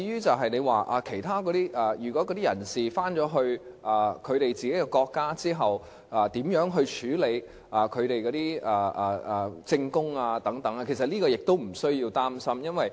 至於有關人士返回自己的國家之後，如何處理他們的證供等，這其實亦無須擔心。